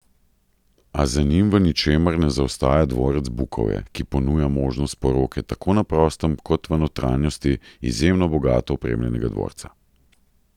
A za njim v ničemer ne zaostaja dvorec Bukovje, ki ponuja možnost poroke tako na prostem kot v notranjosti izjemno bogato opremljenega dvorca.